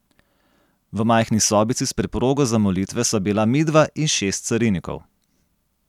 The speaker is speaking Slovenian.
V majhni sobici s preprogo za molitve sva bila midva in šest carinikov.